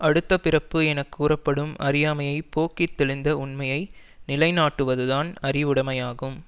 அடுத்த பிறப்பு என கூறப்படும் அறியாமையைப் போக்கி தெளிந்த உண்மையை நிலை நாட்டுவது தான் அறிவுடைமையாகும்